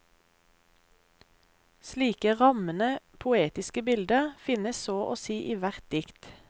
Slike rammende poetiske bilder finnes så å si i hvert dikt.